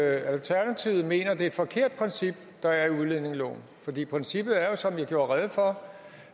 alternativet mener det er et forkert princip der er i udlændingeloven princippet er jo som jeg gjorde rede for